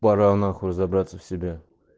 да ну нахуй забраться в себя